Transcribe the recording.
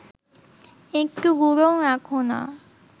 একটু গুঁড়োও রাখ না